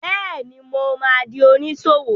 Bẹ́ẹ̀ni, mo ma di oníṣòwò